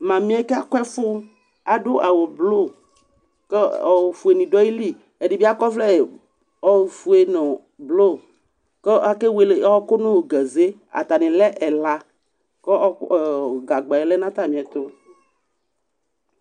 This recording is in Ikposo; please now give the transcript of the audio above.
Mamɩ yɛ kakʋ ɛfʋ, adʋ awʋblʋ kʋ ofuenɩ dʋ ayili Ɛdɩ bɩ akɔ ɔvlɛ ofue nʋ blʋ kʋ akewele ɔɣɔkʋ nʋ gaze Atanɩ lɛ ɛla kʋ ɔɣɔk ɛ gagba yɛ lɛ nʋ atamɩɛtʋ